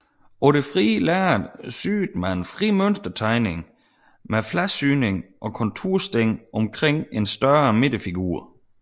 På det frie lærred syede man fri mønstertegning med fladsyning og kontursting omkring en større midterfigur